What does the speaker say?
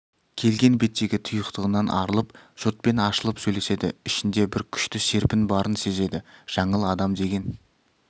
келген беттегі тұйықтығынан арылып жұртпен ашылып сөйлеседі ішінде бір күшті серпін барын сезеді жаңыл адам деген